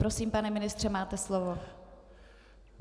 Prosím, pane ministře, máte slovo.